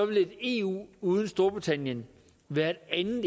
vil et eu uden storbritannien være et